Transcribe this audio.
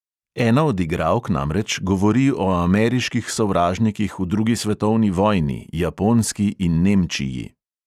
Ena od igralk namreč govori o ameriških sovražnikih v drugi svetovni vojni, japonski in nemčiji.